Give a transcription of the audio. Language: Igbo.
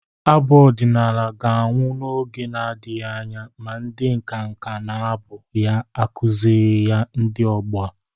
Abụ ọdịnala ga-anwụ n'oge nadịghị anya ma ndị nkanka na-abụ ya akụzịrịghị ya ndị ọgbọ a.